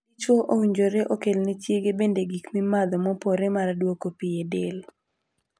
Dichwo owinjore okelne chiege bende gik mimadho mopore mar duoko pii e del.